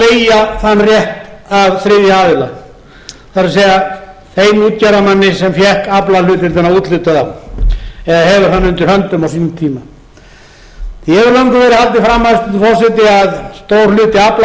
leigja þann rétt af þriðja aðila það er þeim útgerðarmanni sem fékk aflahlutdeildina úthlutað eða hefur hana undir höndum á sínum tíma því hefur löngum verið haldið fram hæstvirtur forseti að stór hluti